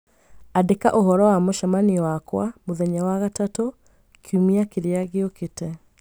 Andĩka ũhoro wa mũcemanio wakwa mũthenya wa gatatũ kiumia kĩrĩa kĩũkĩte